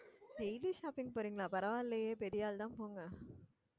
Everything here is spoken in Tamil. daily shopping போறீங்களா பரவாயில்லையே பெரிய ஆள் தான் போங்க